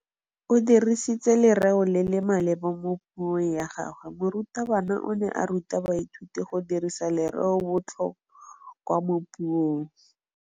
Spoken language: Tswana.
O dirisitse lerêo le le maleba mo puông ya gagwe. Morutabana o ne a ruta baithuti go dirisa lêrêôbotlhôkwa mo puong.